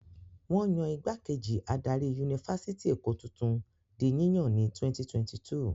Wọ́n yan ìgbákejì adarí Yunifásítì Èkó tuntun di yíyàn ní 2022.